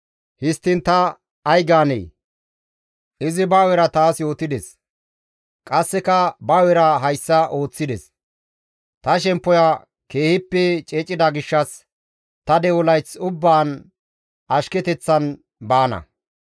Histtiin ta ay gaanee? Izi ba hu7era taas yootides; qasseka ba hu7era hayssa ooththides; Ta shemppoya keehippe ceecida gishshas, ta de7o layth ubbaan ashketeththan baana.